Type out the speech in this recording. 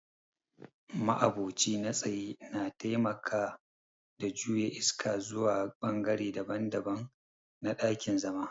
ma'aboci na tsaye na taimaka da juya iska zuwa bangare daban-daban na dakin-zama.